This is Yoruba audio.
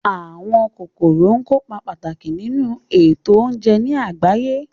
Àwọn kòkòrò kópa pàtàkì nínu ètò oúnje ní àgbáyé